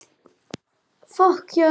Allt gekk vel og skólinn var mitt athvarf.